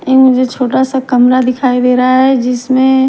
ए मुझे छोटा सा कमरा दिखाई दे रहा है जिसमें--